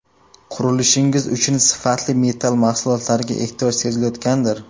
Qurilishingiz uchun sifatli metall mahsulotlariga ehtiyoj sezilayotgandir?